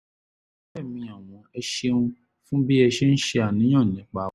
ọ̀rẹ́ mi ọ̀wọ́n ẹ ṣeun fún bí ẹ ṣe ń ṣàníyàn nípa wa